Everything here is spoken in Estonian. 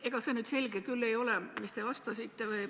Ega see nüüd selge küll ei ole, mis te vastasite.